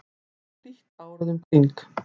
þar er hlýtt árið um kring